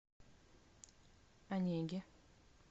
онеге